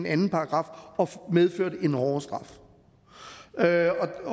anden paragraf og medførte en hårdere straf det